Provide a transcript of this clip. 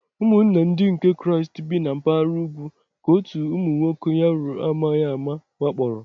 Ụmụnna Ndị nke Kraịst bi na mpaghara ugwu ka otu ụmụ nwoke Yaro amaghị ama wakporo.